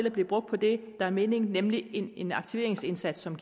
at blive brugt på det der er meningen nemlig en en aktiveringsindsats som